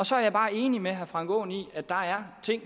så bare enig med herre frank aaen i at der er ting